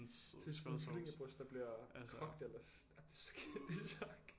Seriøst sådan et kyllingebryst der bliver kogt eller det er så